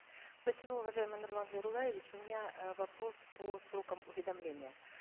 спасибо уважаемый нурлан зайроллаевич у меня э вопрос по срокам уведомления